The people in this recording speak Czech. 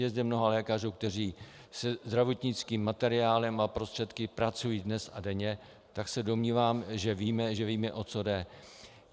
Je zde mnoho lékařů, kteří se zdravotnickým materiálem a prostředky pracují dnes a denně, tak se domnívám, že víme, o co jde.